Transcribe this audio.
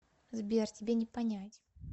сбер тебе не понять